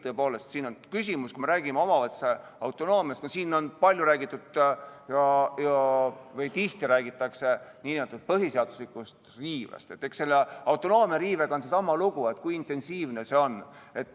Tõepoolest, siin tihti räägitakse nn põhiseaduslikust riivest ja eks selle autonoomia riivega ole sama lugu, et kui intensiivne see on.